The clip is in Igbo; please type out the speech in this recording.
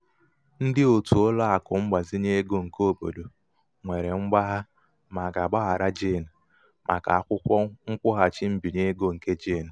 ndị òtù ụlọ akụ mgbazinye ego nke obodo nwere mgbagha ma aga-agbaghara jane màkà akwụkwo nkwụghachi mbinye ego nke jane